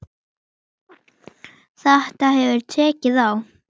Þetta hefur tekið á.